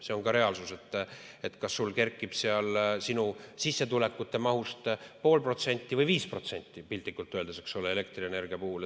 See on reaalsus, kas see kerkib sinu sissetulekute mahust 0,5% või 5%, piltlikult öeldes, elektrienergia puhul.